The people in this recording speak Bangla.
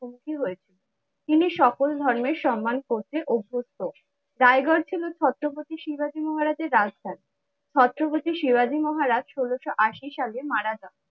কি হয়েছে? তিনি সকল ধর্মের সম্মান করতে অভ্যস্ত। রায়গড় ছিল ছত্রপতি শিবাজী মহারাজের রাজধানী। ছত্রপতি শিবাজী মহারাজ ষোলোশো আশি সালে মারা যান।